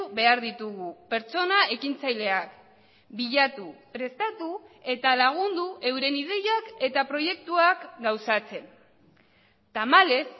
behar ditugu pertsona ekintzaileak bilatu prestatu eta lagundu euren ideiak eta proiektuak gauzatzen tamalez